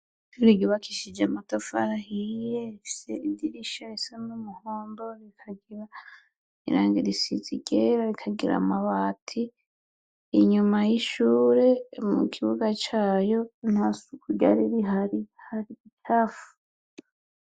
Ishure yubakishijwe amatafari ahiye ifise amadirisha asa n'umuhondo rikagira irangi risize iryera rikagira amabati, inyuma y'ishure mu kibuga cayo nta suku ryari rihari hari imicafu.